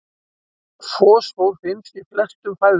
Fosfór finnst í flestum fæðutegundum.